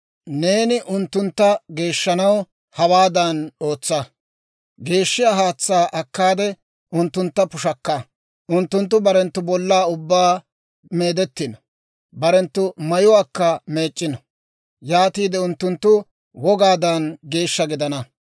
Neeni unttuntta geeshshanaw hawaadan ootsa: geeshshiyaa haatsaa akkaade unttuntta pushakka; unttunttu barenttu bollaa ubbaa meedettino; barenttu mayuwaakka meec'c'ino; yaatiide unttunttu wogaadan geeshsha gidana.